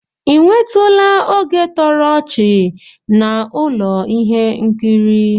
Ị nwetụla oge toro ọchị na ụlọ ihe nkiri?